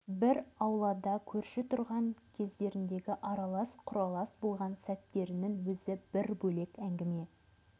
бір аулада көрші тұрған кездеріндегі аралас-құралас болған сәттерінің өзі бір бөлек әңгіме